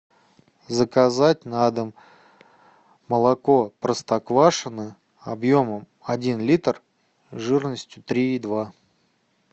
заказать на дом молоко простоквашино объемом один литр жирностью три и два